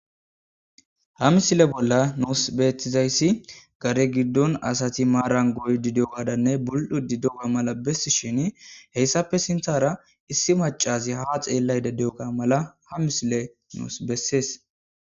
ha misile bolla noos beetizayssi gare giddon asati maaran goy didegadanne bul7u didoga mala bessi shin heyssappe sinthara issi macazi ha xeellay de deoga mala ha misile noos bessees